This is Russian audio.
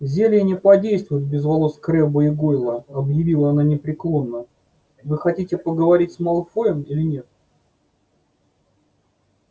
зелье не подействует без волос крэбба и гойла объявила она непреклонно вы хотите поговорить с малфоем или нет